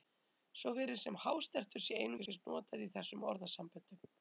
Svo virðist sem hástertur sé einungis notað í þessum orðasamböndum.